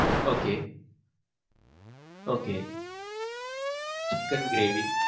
okay. okay chicken gravy.